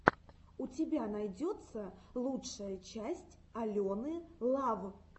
у тебя найдется лучшая часть алены лав